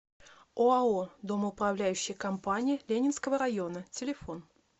оао домоуправляющая компания ленинского района телефон